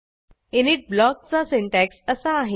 init ब्लॉकचा सिन्टॅक्स असा आहे